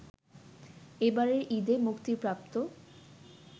এবারের ঈদে মুক্তিপ্রাপ্ত